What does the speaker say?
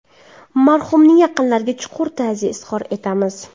Marhumaning yaqinlariga chuqur ta’ziya izhor etamiz.